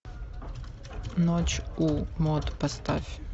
ночь у мод поставь